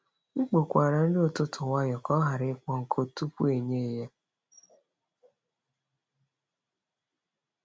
M kpokwara nri ụtụtụ nwayọọ ka ọ ghara ịkpọọ nkụ tupu e nye ya.